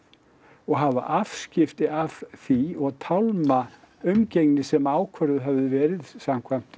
og hafa afskipti af því og tálma umgengni sem ákvörðuð hafði verið samkvæmt